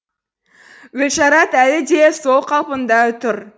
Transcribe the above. гүлшарат әлі де сол қалпында тұр